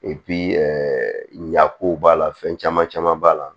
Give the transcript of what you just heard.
ɲako b'a la fɛn caman caman b'a la